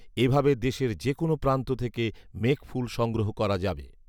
এভাবে দেশের যে কোন প্রান্ত থেকে "মেঘফুল" সংগ্রহ করা যাবে